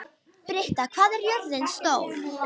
Britta, hvað er jörðin stór?